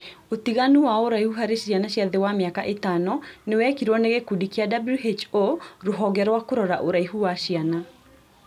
Ũtiganu wa ũraihu harĩ ciana cia thĩ wa mĩaka ĩtano nĩwekirwo nĩ gĩkundi kĩa (WHO) rũhonge rwa kũrora ũraihu wa ciana